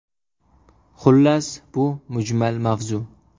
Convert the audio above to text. Xullas, bu mujmal mavzu.